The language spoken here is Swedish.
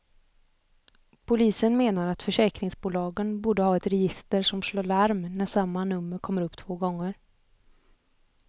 Polisen menar att försäkringsbolagen borde ha ett register som slår larm när samma nummer kommer upp två gånger.